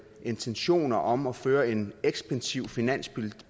intentioner om at føre en ekspansiv finanspolitik